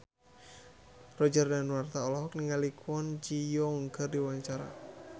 Roger Danuarta olohok ningali Kwon Ji Yong keur diwawancara